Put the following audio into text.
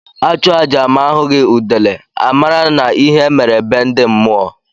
A chụọ aja ma a hụghi udele, a mara na ihe mere be ndi mmụọ.